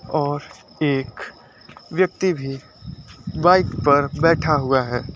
और एक व्यक्ति भी बाइक पर बैठा हुआ है।